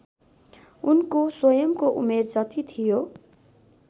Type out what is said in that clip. उनको स्वयंको उमेर जति थियो